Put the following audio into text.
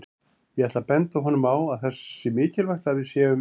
Ég ætla að benda honum á að það sé mikilvægt að við séum